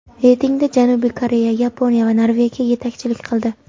Reytingda Janubiy Koreya, Yaponiya va Norvegiya yetakchilik qildi.